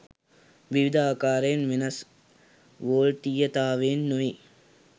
විවිධ අකාරයට වෙනස් වොල්ටීයතාවයන් නෙවෙයි